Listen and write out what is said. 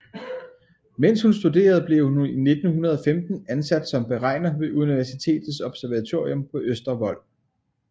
Mens hun studerede blev hun i 1915 ansat som beregner ved universitetets observatorium på Østervold